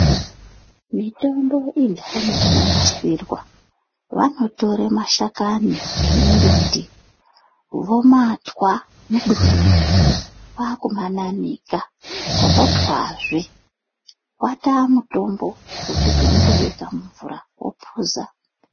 Mitombo indani inonasirwa vanotore mashakani emimbiti vomatwa muduri umo. Kwakumananika votwazve vataa mutombo yokuti unotobeka mumvura vopuza.